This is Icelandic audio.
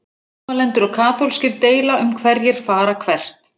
Mótmælendur og kaþólskir deila um hverjir fara hvert.